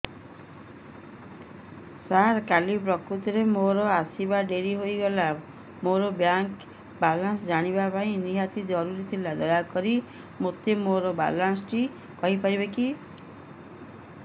ସାର କାଲି ପ୍ରକୃତରେ ମୋର ଆସିବା ଡେରି ହେଇଗଲା ମୋର ବ୍ୟାଙ୍କ ବାଲାନ୍ସ ଜାଣିବା ନିହାତି ଜରୁରୀ ଥିଲା ଦୟାକରି ମୋତେ ମୋର ବାଲାନ୍ସ ଟି କହିପାରିବେକି